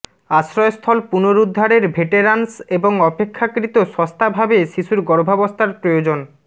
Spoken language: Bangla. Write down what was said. আশ্রয়স্থল পুনরুদ্ধারের ভেটেরান্স এবং অপেক্ষাকৃত সস্তাভাবে শিশুর গর্ভাবস্থার প্রয়োজন